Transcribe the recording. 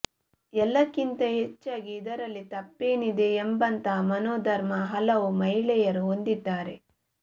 ಎಲ್ಲಕ್ಕಿಂತ ಹೆಚ್ಚಾಗಿ ಇದರಲ್ಲಿ ತಪ್ಪೇನಿದೆ ಎಂಬಂತಹ ಮನೋಧರ್ಮ ಹಲವು ಮಹಿಳೆಯರು ಹೊಂದಿದ್ದಾರೆ